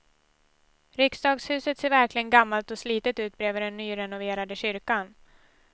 Riksdagshuset ser verkligen gammalt och slitet ut bredvid den nyrenoverade kyrkan.